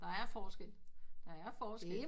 Det er forskel der er forskel